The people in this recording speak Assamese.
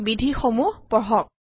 বিধি সমূহ পঢ়ক